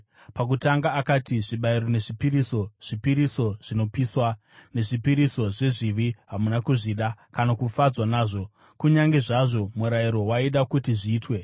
Pakutanga akati, “Zvibayiro nezvipiriso, zvipiriso zvinopiswa, nezvipiriso zvezvivi hamuna kuzvida, kana kufadzwa nazvo (kunyange zvazvo murayiro waida kuti zviitwe).”